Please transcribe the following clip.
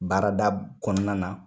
Baarada kɔnɔna na